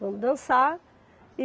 Vamos dançar.